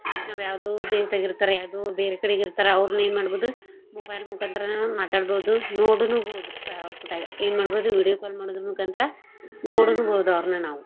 ನಾವ್ ಯಾವ್ದೋ ದೇಶ್ದಾಗ ಇರ್ತಾರಾ ಯಾವ್ದೋ ಬೇರೆ ಕಡೆಗ್ ಇರ್ತಾರ ಔರ್ನ ಎನ್ ಮಾಡ್ಬೋದು mobile ಮುಖಾಂತರಾನ ಮಾತಾಡ್ಬೋದು ನೋಡುನು ಬೋದ್ರಿ ಸಾ ಎನ್ ಮಾಡ್ಬೋದು video call ಮಾಡೋದರ್ ಮುಖಾಂತ್ರ ನೋಡುನು ಬೋದ್ ಅವ್ರ್ನ.